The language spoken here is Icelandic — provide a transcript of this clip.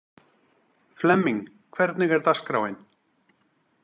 Flemming, hvernig er dagskráin?